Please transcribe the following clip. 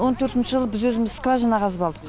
он төртінші жылы біз өзіміз скважина қазып алдық